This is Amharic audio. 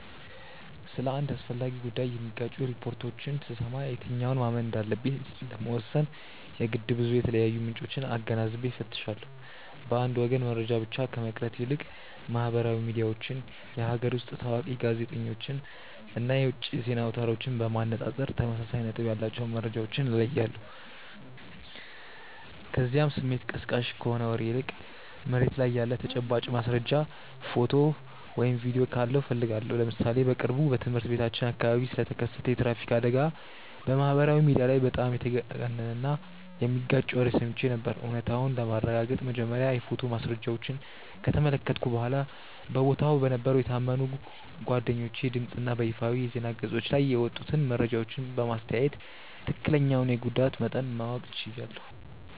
ስለ አንድ አስፈላጊ ጉዳይ የሚጋጩ ሪፖርቶችን ስሰማ የትኛውን ማመን እንዳለብኝ ለመወሰን የግድ ብዙ የተለያዩ ምንጮችን አገናዝቤ እፈትሻለሁ። በአንድ ወገን መረጃ ብቻ ከመቅረት ይልቅ ማህበራዊ ሚዲያዎችን፣ የሀገር ውስጥ ታዋቂ ጋዜጠኞችን እና የውጭ የዜና አውታሮችን በማነጻጸር ተመሳሳይ ነጥብ ያላቸውን መረጃዎች እለያለሁ፤ ከዚያም ስሜት ቀስቃሽ ከሆነ ወሬ ይልቅ መሬት ላይ ያለ ተጨባጭ ማስረጃ፣ ፎቶ ወይም ቪዲዮ ካለው እፈልጋለሁ። ለምሳሌ በቅርቡ በትምህርት ቤታችን አካባቢ ስለተከሰተ የትራፊክ አደጋ በማህበራዊ ሚዲያ ላይ በጣም የተጋነነና የሚጋጭ ወሬ ሰምቼ ነበር፤ እውነታውን ለማረጋገጥ መጀመሪያ የፎቶ ማስረጃዎችን ከተመለከትኩ በኋላ፣ በቦታው በነበሩ የታመኑ ጓደኞቼ ድምፅ እና በይፋዊ የዜና ገጾች ላይ የወጡትን መረጃዎች በማስተያየ ትክክለኛውን የጉዳት መጠን ማወቅ ችያለሁ።